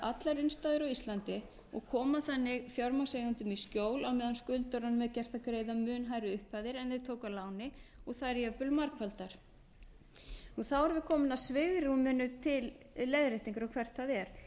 allar innstæður á íslandi og koma þannig fjármagnseigendum í skjól á meðan skuldurum er gert að greiða mun hærri upphæðir en þeir tóku að láni og þær jafnvel margfaldar þá erum við komin að svigrúminu til leiðréttingar og hvert það er